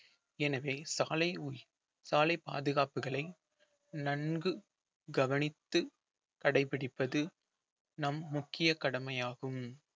எனவே சாலை சாலை பாதுகாப்புகளை நன்கு கவனித்து கடைபிடிப்பது நம் முக்கிய கடமையாகும்